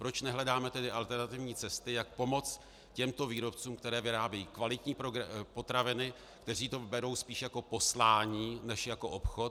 Proč nehledáme tedy alternativní cesty, jak pomoci těmto výrobcům, kteří vyrábějí kvalitní potraviny, kteří to berou spíš jako poslání než jako obchod?